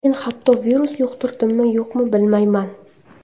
Men hatto virus yuqtirdimmi-yo‘qmi, bilmayman.